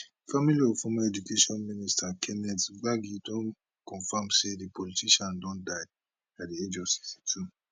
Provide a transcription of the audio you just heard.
family of former education minister kenneth gbagi don comfam say di politician don die at di age of 62